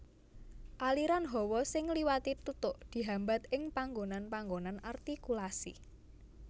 Aliran hawa sing ngliwati tutuk dihambat ing panggonan panggonan artikulasi